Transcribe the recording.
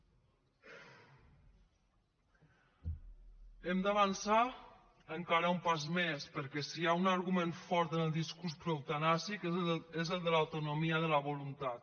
hem d’avançar encara un pas més perquè si hi ha un argument fort en el discurs proeutanàsic és el de l’autonomia de la voluntat